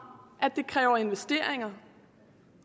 at det kræver investeringer